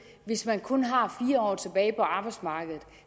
hvis man kun har fire år tilbage på arbejdsmarkedet